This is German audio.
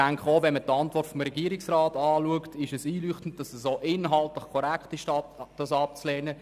Liest man die Antwort des Regierungsrats, ist es einleuchtend, dass es auch inhaltlich korrekt ist, den Antrag abzulehnen.